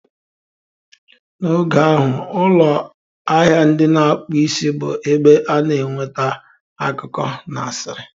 N'oge ahụ, ụlọ ahịa ndị na-akpụ isi bụ ebe a na-enweta akụkọ na asịrị